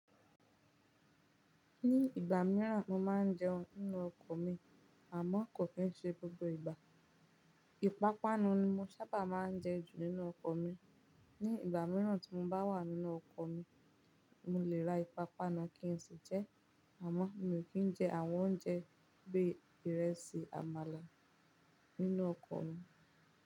Ní ìgbà mìíràn mo máa ń jẹun nínú ọkọ̀ mi àmọ́ kò ki ṣe gbogbo ìgbà. Ìpápánu ni mo sábà máa ń jẹ ju nínú ọkọ̀ mi. Ní ìgbà mìíràn tí mo bá wà nínú ọkọ̀ mi, mo lè ra ìpápánu kí n sì jẹ ẹ́ àmọ́ mi ò kí ń jẹ àwọn oúnjẹ bí ìrẹsì, àmàlà nínú ọkọ̀ mi.